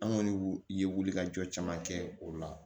An kɔni ye wulikajɔ caman kɛ o la